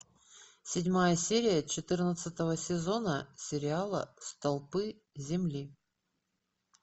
седьмая серия четырнадцатого сезона сериала столпы земли